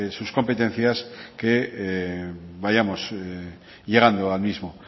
sus competencias que vayamos llegando al mismo